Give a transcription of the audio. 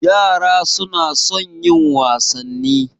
Yara suna son yin wasanni.